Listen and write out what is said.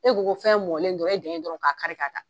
E ko ko fɛn mɔnlen dɔron, e dan ye dɔrɔn k'a kari ka taa.